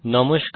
নমস্কার